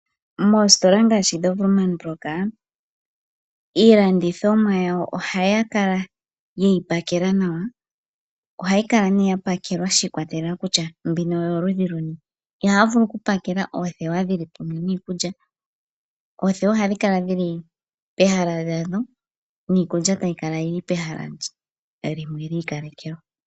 Moositola ngaashi dhoWoermann Brock iilanditho mwa yawo ohaya kala ye yi pakela nawa. Ohayi kala nee ya pakelwa shi ikwatelela kutya mbino oyoludhi luni. Ihaya vulu oku pakela oothewa dhili pamwe niikulya. Oothewa ohadhi kala dhili pehala dhalyo niikulya tayi kala yili pehala limwe li ikalekelwa.